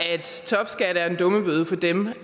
topskat er en dummebøde for dem